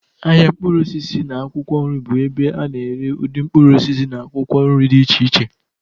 Ahịa mkpụrụ osisi na akwụkwọ nri bụ ebe a na-ere ụdị mkpụrụ osisi na akwụkwọ nri dị iche iche.